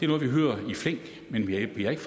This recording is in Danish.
noget vi hører i flæng men vi har ikke